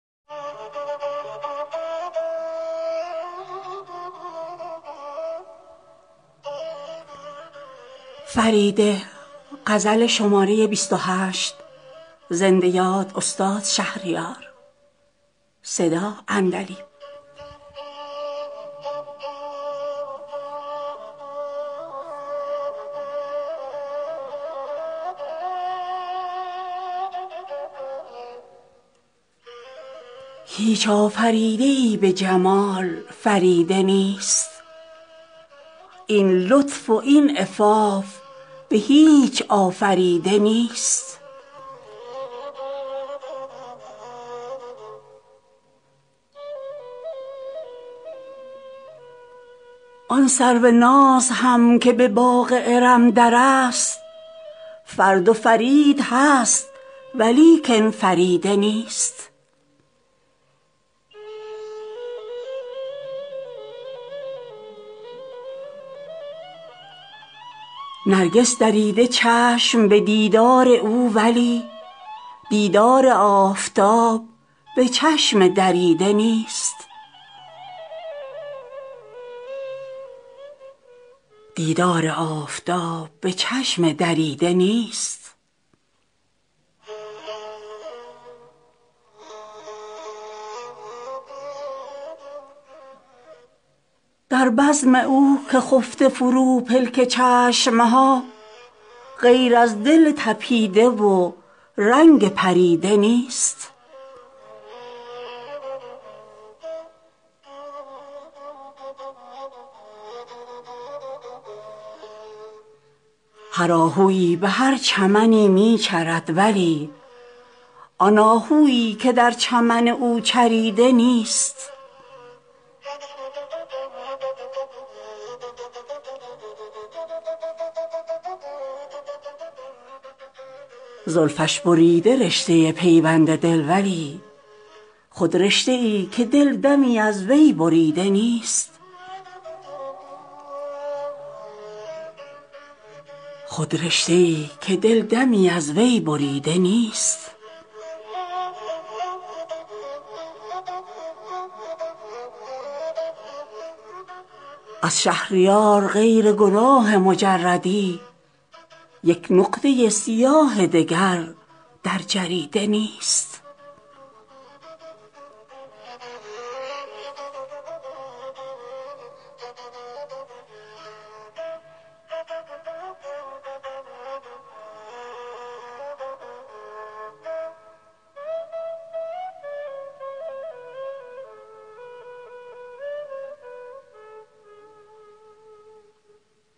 هیچ آفریده ای به جمال فریده نیست این لطف و این عفاف به هیچ آفریده نیست آن سروناز هم که به باغ ارم در است فرد و فرید هست ولیکن فریده نیست چشمم پرید تا به رخش کی نظر کنم چشمی به خوش نشینی این ورپریده نیست نرگس دریده چشم به دیدار او ولی دیدار آفتاب به چشم دریده نیست در بزم او که خفته فرو پلک چشم ها غیر از دل تپیده و رنگ پریده نیست هر آهویی به هر چمنی می چرد ولی آن آهویی که در چمن او چریده نیست زلفش بریده رشته پیوند دل ولی خود رشته ای که دل دمی از وی بریده نیست دل یک نگاه او نفروشد به عالمی اما دلی که او به نگاهی خریده نیست دری ست پروریده درج صدف ولی دری چنین به هیچ صدف پروریده نیست از شهریار غیر گناه مجردی یک نقطه سیاه دگر در جریده نیست